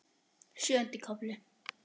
Sjöundi kafli